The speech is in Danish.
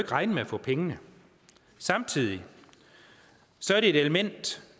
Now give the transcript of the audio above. regne med at få pengene samtidig er det et element